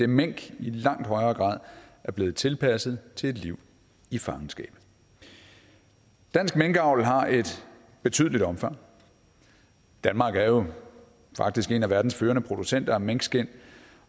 mink i langt højere grad er blevet tilpasset til et liv i fangenskab dansk minkavl har et betydeligt omfang danmark er jo faktisk en af verdens førende producenter af minkskind